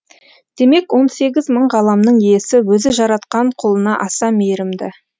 демек он сегіз мың ғаламның иесі өзі жаратқан құлына аса мейірімді